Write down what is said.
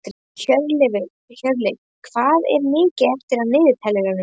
Hjörleif, hvað er mikið eftir af niðurteljaranum?